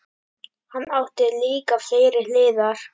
Hann átti líka fleiri hliðar.